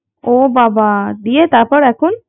ও বাবা দিয়ে তারপর এখন